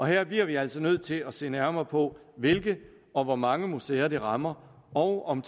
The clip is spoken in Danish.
her bliver vi altså nødt til at se nærmere på hvilke og hvor mange museer det rammer og om